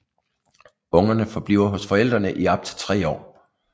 Ungerne forbliver hos forældrene i op til tre år